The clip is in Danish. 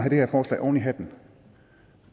oven i hatten